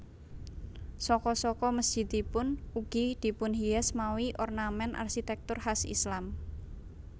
Saka saka mesjidipun ugi dipunhias mawi ornament arsitektur khas Islam